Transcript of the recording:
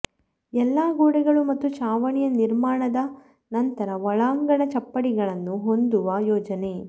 ಎಲ್ಲಾ ಗೋಡೆಗಳು ಮತ್ತು ಛಾವಣಿಯ ನಿರ್ಮಾಣದ ನಂತರ ಒಳಾಂಗಣ ಚಪ್ಪಡಿಗಳನ್ನು ಹೊಂದುವ ಯೋಜನೆ